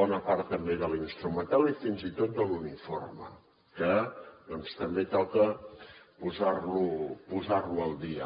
bona part també de l’instrumental i fins i tot de l’uniforme que doncs també toca posar lo al dia